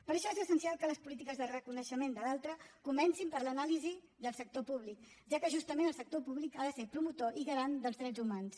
per això és essencial que les polítiques de reconeixement de l’altre comencin per l’anàlisi del sector públic ja que justament el sector públic ha de ser promotor i garant dels drets humans